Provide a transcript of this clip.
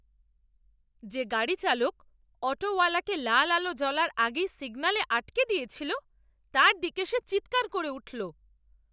যে গাড়ি চালক অটোওয়ালাকে লাল আলো জ্বলার আগেই সিগন্যালে আটকে দিয়েছিল, তার দিকে সে চিৎকার করে উঠল।